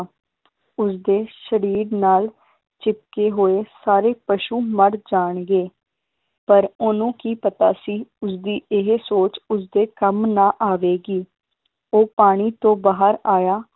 ਉਸਦੇ ਸ਼ਰੀਰ ਨਾਲ ਚਿਪਕੇ ਹੋਏ ਸਾਰੇ ਪਸ਼ੂ ਮਰ ਜਾਣਗੇ ਪਰ ਓਹਨੂੰ ਕੀ ਪਤਾ ਸੀ, ਉਸਦੀ ਇਹ ਸੋਚ ਉਸਦੇ ਕੰਮ ਨਾ ਆਵੇਗੀ ਉਹ ਪਾਣੀ ਤੋਂ ਬਾਹਰ ਆਇਆ।